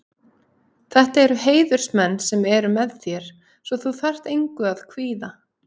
Þetta eru heiðursmenn sem eru með þér svo þú þarft engu að kvíða.